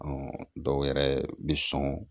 dɔw yɛrɛ bɛ sɔn